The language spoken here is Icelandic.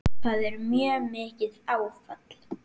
Það var mjög mikið áfall.